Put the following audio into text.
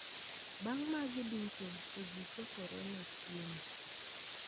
Bang` magi duto to ji chokore ne chiemo.